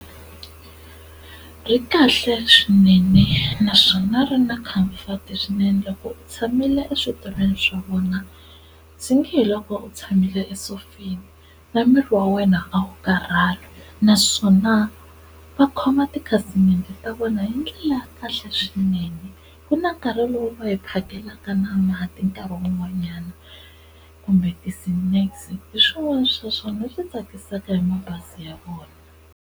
Ri hi kahle swinene naswona ri na comfort swinene loko u tshamile eswitulwini swa vona swi nge he loko u tshamile esofeni, na miri wa wena a wu karhali naswona va khoma tikhasimende ta vona hi ndlela ya kahle swinene ku na nkarhi lowu va hi phakelaka na mati nkarhi wun'wanyana kumbe ti-snacks hiswona swa swona leswi tsakisaka hi mabazi ya vona.